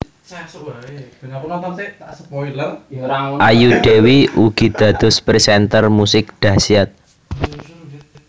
Ayu Dewi ugi dados presenter musik dahsyat